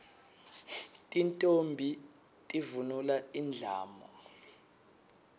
tintfombi tivunula indlamu